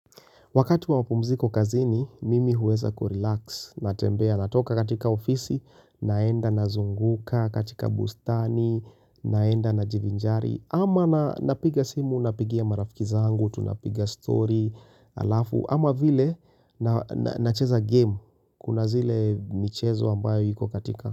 Wakati wa mapumziko kazini, mimi huweza kurelax, natembea, natoka katika ofisi, naenda nazunguka, katika bustani, naenda najivinjari, ama napiga simu, napigia marafiki zangu, tunapiga story, halafu, ama vile nacheza game, kuna zile michezo ambayo iko katika.